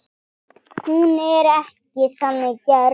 Hún er ekki þannig gerð.